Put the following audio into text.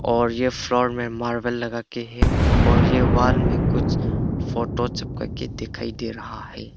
और ये फ्लोर में मार्बल लगाके है और ये वॉल में कुछ फोटो चिपकाके दिखाई दे रहा है।